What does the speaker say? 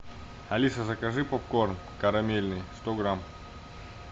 алиса закажи попкорн карамельный сто грамм